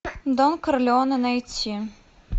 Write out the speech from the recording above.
дон корлеоне найти